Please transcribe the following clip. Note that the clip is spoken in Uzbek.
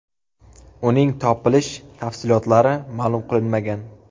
Uning topilish tafsilotlari ma’lum qilinmagan.